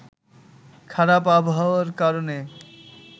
খারাপ আবহাওয়ার কারণে